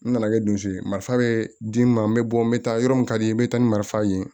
N nana kɛ dusu ye marifa bɛ di n ma n bɛ bɔ n bɛ taa yɔrɔ min ka di n bɛ taa ni marifa ye